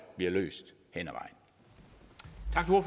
bliver løst hen